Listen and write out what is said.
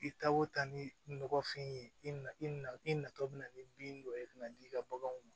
I tako ta ni nɔgɔfɛn ye i na i na i natɔ bɛ na ni bin dɔ ye i bɛna d'i ka baganw ma